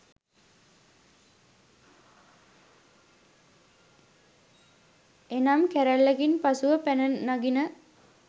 එනම් කැරල්ලකින් පසුව පැන නගින